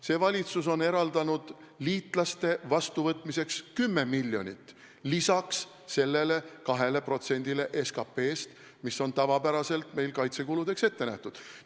See valitsus on eraldanud liitlaste vastuvõtmiseks 10 miljonit lisaks sellele 2%-le SKP-st, mis on tavapäraselt kaitsekuludeks ette nähtud.